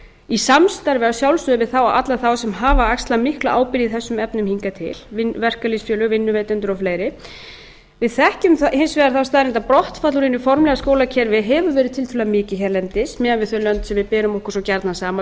í samstarfi að sjálfsögðu við alla þá sem hafa axlað mikla ábyrgð í þessum efnum hingað til verkalýðsfélög vinnuveitendur og fleira við þekkjum hins vegar þá staðreynd að brottfall úr hinu formlega skólakerfi hefur verið tiltölulega mikið hérlendis miðað við þau lönd sem við berum okkur svo gjarnan saman við